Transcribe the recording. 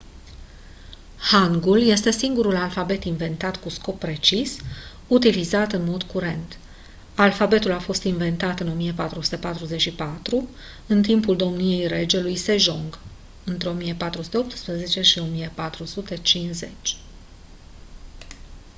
hangul este singurul alfabet inventat cu scop precis utilizat în mod curent. alfabetul a fost inventat în 1444 în timpul domniei regelui sejong 1418 – 1450